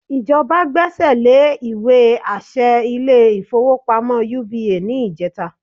Ìjọba gbẹ́sẹ̀ lé ìwé àṣẹ ilé-ìfowópamọ́ UBA ní ìjẹta